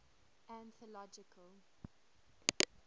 anthological